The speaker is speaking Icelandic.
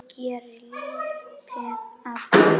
Ég geri lítið af því.